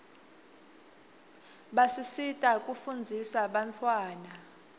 basisita kufundzisa bantawana